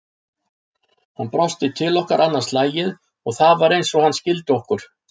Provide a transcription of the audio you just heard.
Hann brosti til okkar annað slagið og það var eins og hann skildi okkur.